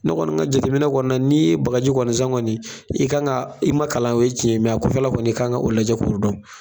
Ne kɔni ka jateminɛ kɔni na n'i ye bagaji kɔni san kɔni i kan ka i ma kalan o ye cɛn ye kɔfɛla kɔni'i kan k'o ɲɛɲini k'o dɔn